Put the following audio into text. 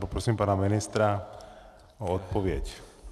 Poprosím pana ministra o odpověď.